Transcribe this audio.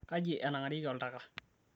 kaji enangarieki oltaka?